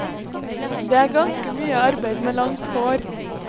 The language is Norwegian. Det er ganske mye arbeid med langt hår.